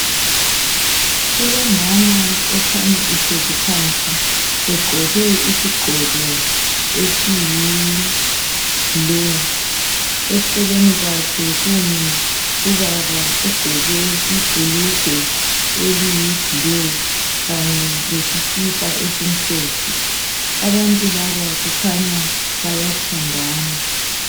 Kulomama okhanya ehlezi phansi egqoke isigqoko esiyiblu, eceleni kwakhe kumi ubaba ogqoke ibhulugwe eliyiblu kanye lesikipa esimhlophe. Abantu laba kukhanya bayathandana.